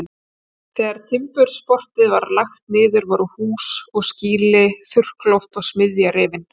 Þegar Timburportið var lagt niður voru hús og skýli, þurrkloft og smiðja rifin.